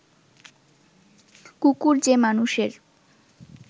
কুকুর যে মানুষের